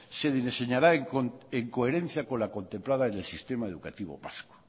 se diseñará en coherencia con la contemplada en el sistema educativo vasco